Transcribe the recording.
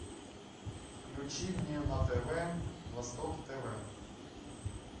включи мне на тв восток тв